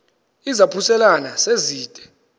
izaphuselana se zide